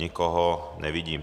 Nikoho nevidím.